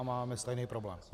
A máme stejný problém.